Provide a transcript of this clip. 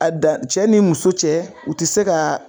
A dan cɛ ni muso cɛ ,u ti se ka